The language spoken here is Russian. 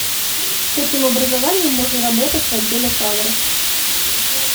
с каким образованием можно работать в отделе кадров